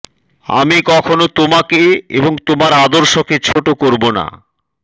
আমি কখনও তোমাকে এবং তোমার আদর্শকে ছোট করব না